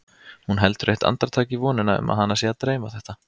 Hún heldur eitt andartak í vonina um að hana sé að dreyma þetta.